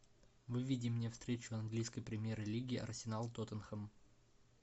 выведи мне встречу английской премьер лиги арсенал тоттенхэм